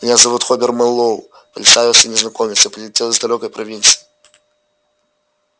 меня зовут хобер мэллоу представился незнакомец я прилетел из далёкой провинции